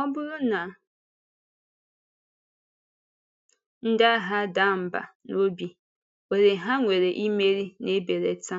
Ọ bụrụ na ndị agha adàà mbà n’obi, ohere ha nwere imeri na-ebelata.